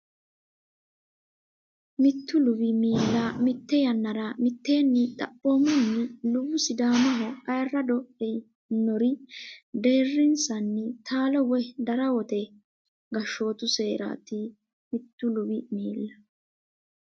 Mittu luwi miilla mitte yannara mitteenni Xaphoomunni luwu Sidaamaho ayirrado e inori deerrinsanni taalo woy darawote gashshootu seeraati Mittu luwi miilla.